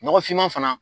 Nɔgɔfinman fana